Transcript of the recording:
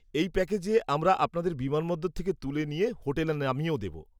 -এই প্যাকেজে আমরা আপনাদের বিমানবন্দর থেকে তুলে নিয়ে হোটেলে নামিয়েও দেব।